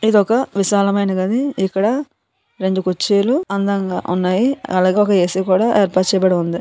ఇది ఒక విశాలమైన గది. ఇక్కడ రెండు కుర్చీలు అందంగా ఉన్నాయి. అలాగే ఒక ఏ_సి కూడా ఏర్పర్చబడి ఉంది.